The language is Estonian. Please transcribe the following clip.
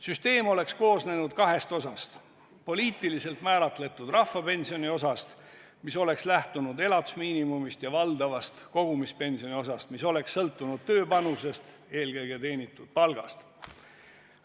Süsteem oleks koosnenud kahest osast: poliitiliselt määratletud rahvapensioni osast, mis oleks lähtunud elatusmiinimumist, ja valdavast kogumispensioniosast, mis oleks sõltunud tööpanusest, eelkõige teenitud palgast.